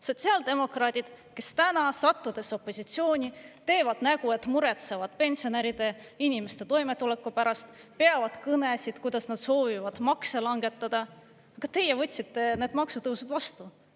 Sotsiaaldemokraadid, kes täna, sattudes opositsiooni, teevad nägu, et muretsevad pensionäride, inimeste toimetuleku pärast, peavad kõnesid, kuidas nad soovivad makse langetada – ka teie võtsite need maksutõusud vastu.